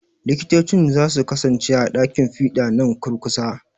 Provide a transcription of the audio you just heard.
Likitocin za su kasance a ɗakin fiɗa nan kurkusa.